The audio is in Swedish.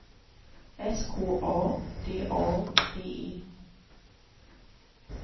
S K A D A D E